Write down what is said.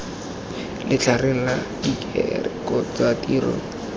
letlhareng la direkoto tsa tiro